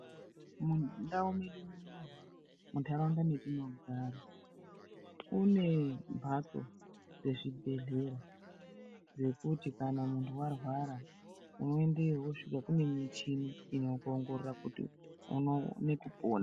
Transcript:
Mundau medu, muntaraunda metinogara kune mhatso dzezvibhehlera, dzekuti kana muntu arwara unoendeyo wosvika kune michini inokuongorora kuti uone kupona.